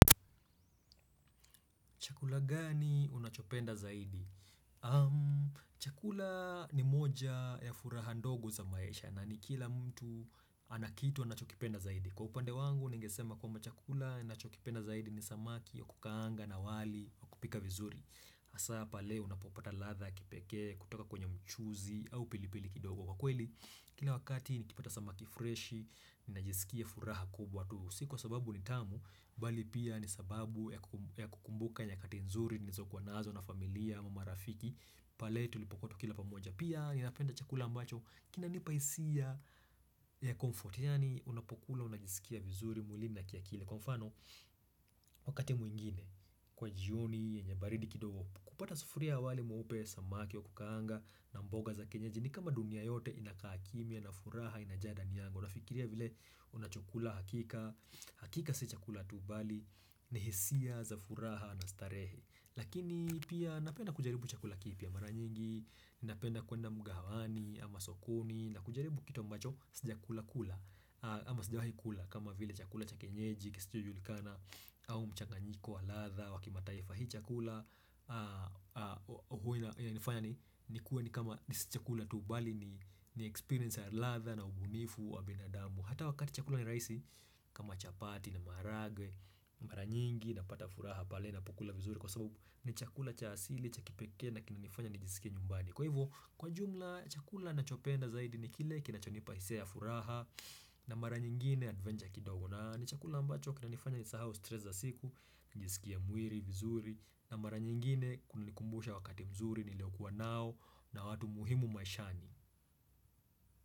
Chakula gani unachopenda zaidi? Chakula ni moja ya furaha ndogo za maisha na ni kila mtu ana kitu anachokipenda zaidi. Kwa upande wangu, ningesema kwamba chakula ninachokipenda zaidi ni samaki wa kukaanga na wali wa kupika vizuri. Hasa pale unapopata ladha ya kipekee kutoka kwenye mchuzi au pilipili kidogo. Kwa kweli, kila wakati nikipata samaki freshi, ninajisikia furaha kubwa tu Si kwa sababu ni tamu, bali pia ni sababu ya kuku ya kukumbuka nyakati nzuri nilizokuwa nazo na familia, marafiki pale tulipokuwa tukila pamoja. Pia ninapenda chakula ambacho kinanipa hisia ya comfort yaani unapokula unajisikia vizuri mwilini na kiakili kwa mfano wakati mwingine kwa jioni, yenye baridi kidogo, kupata sufuria ya wali mweupe, samaki wa kukaanga na mboga za kienyeji ni kama dunia yote inakaa kimya na furaha inajaa ndani yangu. Unafikiria vile unachokula hakika. Hakika si chakula tu bali ni hisia za furaha na starehe. Lakini pia napenda kujaribu chakula kipya mara nyingi Napenda kuenda mgahawani ama sokoni na kujaribu kitu ambacho sijakula kula ama sijawahi kula. Kama vile chakula cha kienyeji, kisichojulikana au mchanganyiko wa ladha wa kimataifa. Hii chakula Huwa inanifanya ni nikuwe ni kama sijakula tu bali ni ni experience ya ladha na ubunifu wa binadamu. Hata wakati chakula ni rahisi kama chapati na maharagwe mara nyingi napata furaha pale napokula vizuri kwa sababu ni chakula cha asili, cha kipekee na kinanifanya nijisikie nyumbani kwa hivyo kwa jumla chakula nachopenda zaidi ni kile kinachonipa hisia ya furaha na mara nyingine adventure kidogo na ni chakula ambacho kinanifanya nisahau stress za siku, nijisikie mwili vizuri na mara nyingine kunikumbusha wakati mzuri niliokuwa nao na watu muhimu maishani.